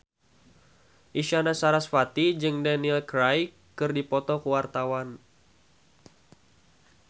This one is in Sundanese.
Isyana Sarasvati jeung Daniel Craig keur dipoto ku wartawan